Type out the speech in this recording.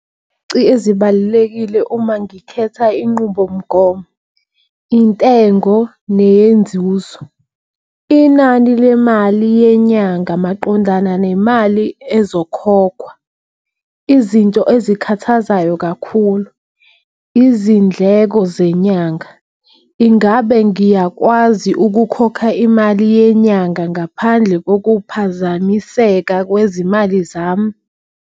ezibalulekile uma ngikhetha inqubomgomo intengo neyenzuzo. Inani lemali yenyanga maqondana nemali ezokhokhwa izinto ezikhathazayo kakhulu izindleko zenyanga. Ingabe ngiyakwazi ukukhokha imali yenyanga ngaphandle kokuphazamiseka kwezimali zami?